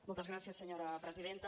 moltes gràcies senyora presidenta